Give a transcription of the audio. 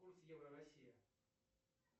курс евро россия